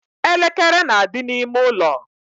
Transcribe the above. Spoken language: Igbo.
elekere na-adị n'ime ụlọ.